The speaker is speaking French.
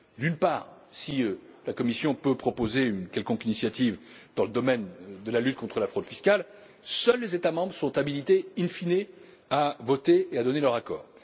D'une part, si la Commission peut proposer une quelconque initiative dans le domaine de la lutte contre la fraude fiscale, seuls les États membres sont habilités in fine à voter et à donner leur accord.